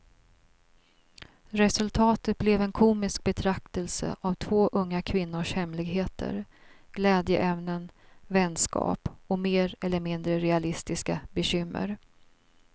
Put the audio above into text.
Resultatet blev en komisk betraktelse av två unga kvinnors hemligheter, glädjeämnen, vänskap och mer eller mindre realistiska bekymmer.